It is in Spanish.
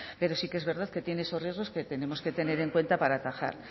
pero sí que es verdad que tiene esos riesgos que tenemos que tener en cuenta para atajar